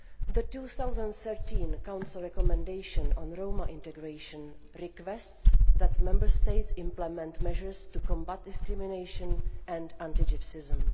The 2013 Council recommendation on Roma integration requests that Member States implement measures to combat discrimination and anti Gypsyism.